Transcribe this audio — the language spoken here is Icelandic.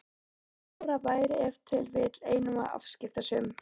Lára væri ef til vill einum of afskiptasöm.